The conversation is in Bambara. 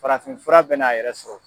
Farafin fura bɛn'a yɛrɛ sɔrɔ.